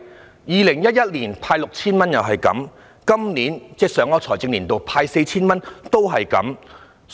在2011年派發 6,000 元時如是，在上一個財政年度派發 4,000 也如是。